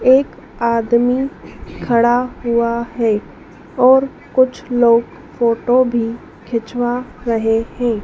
एक आदमी खड़ा हुआ है और कुछ लोग फोटो भी खिंचवा रहे हैं।